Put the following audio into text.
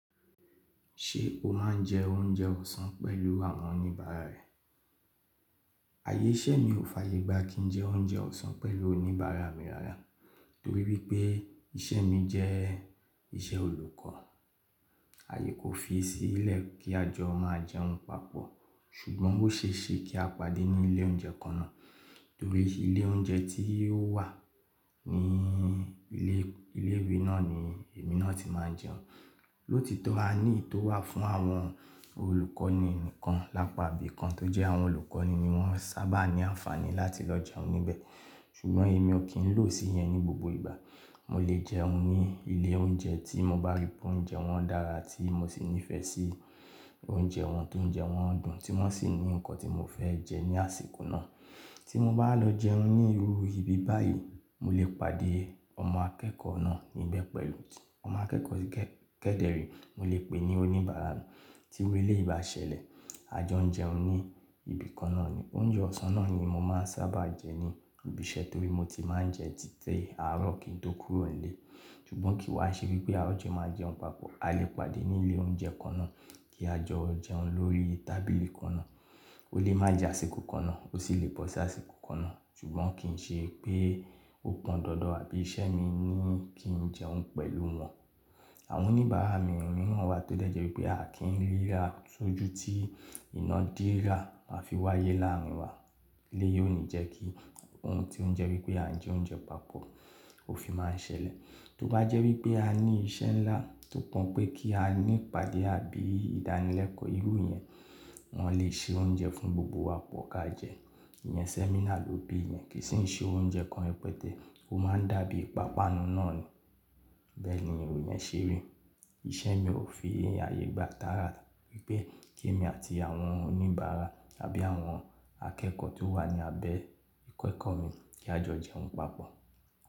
Ṣé o máa ń jẹ oúnjẹ ọ̀sán pẹ̀lú àwọn oníbàárà rẹ? Ayé iṣẹ́ mi ò fàyè gba kí n jẹ oúnjẹ ọ̀sán pẹ̀lú oníbàárà mi rárá. Nítorí wípé iṣẹ́ mi jẹ́ iṣẹ́ olùkọ́, ààyè kò fi sílẹ̀ kí a jọ máa jẹun papọ̀. Ṣùgbọ́n bó ṣe ṣe kí a pàdé ní ilé oúnjẹ kan náà torí ilé oúnjẹ tí ó wà ní ilé ìwé náà ni èmi náà ti máa ń jẹun. Lótitọ́ a ní ìto wà fún àwọn olùkọ́ni nìkan lápàbí kan tó jẹ́ àwọn olùkọ́ni ni wọ́n sábà ní àǹfààní láti lọ jẹun níbẹ̀. Ṣùgbọ́n èmi ò kí ń lò ó sì í yẹn ní gbogbo ìgbà. Mo lè jẹun ní ilé oúnjẹ tí mo bá rí pé oúnjẹ wọn dára tí mo sì nífẹ̀ẹ́ sí oúnjẹ wọn tó ń jẹun dùn tí wọ́n sì ní nǹkan tí mo fẹ́ jẹ ní àsìkò náà. Tí mo bá lọ jẹun ní irú ibi báyìí, mo lè pàdé ọmọ akẹ́kọ̀ọ́ náà níbẹ̀ pẹ̀lú ọmọ akẹ́kọ̀ọ́ kẹ́dẹre, mo lè pè é ní oníbàárà mi. Tí iru eleyi báṣẹlẹ̀, a jọ n jẹun ní ibi kan náà ni. Oúnjẹ ọ̀sán náà ni mo máa ń sábà jẹ ní ibi iṣẹ́ torí mo ti máa ń jẹ títí àárọ̀ kí n tó kúrò nílé. Ṣùgbọ́n kì í wá ṣe wípé a ò jẹ máa jẹun papọ̀. A lè pàdé ní ilé oúnjẹ kan náà kí a jọ jẹun lórí tábìlì kan náà. Ó lè má jà àsìkò kan náà ó sì lè bọsí àsìkò kan náà. Ṣùgbọ́n kì ń ṣe pé ó pọn dandan àbí iṣẹ́ mi ní kí n jẹun pẹ̀lú wọn. Àwọn oníbàárà mi mìíràn wa tó dẹ́jẹ́ wípé a kì ń ríra sójú tí iná dírà a fi wáyé láàrin wa. Ilé yìí ò ní jẹ́ kí ohun tí ó jẹ́ wípé à ń jẹ oúnjẹ papọ̀ ó fi máa ń ṣẹlẹ̀. Tó bá jẹ́ wípé a ní iṣẹ́ ńlá tó pọn pé kí a ní pàdé àbí ìdánilẹ́kọ̀ọ́ irú yẹn, wọ́n lè ṣe oúnjẹ fún gbogbo wa pọ ká jẹ. Ìyẹn sẹ́mínà ló bí i yẹn kì í sì ń ṣe oúnjẹ kan rẹpẹtẹ. Ó máa ń dàbí ìpápánu náà ni. Bẹ́ẹ̀ ni irú yẹn ṣe rí. Iṣẹ́ mi ò fi ààyè gba tára wípé kí èmi àti àwọn oníbàárà àbí àwọn akẹ́kọ̀ọ́ tó wà ní abẹ́ ikọ̀ ẹkọ mi kí a jọ jẹun papọ̀.